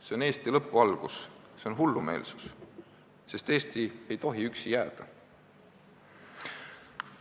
See on Eesti lõpu algus, see on hullumeelsus, sest Eesti ei tohi üksi jääda.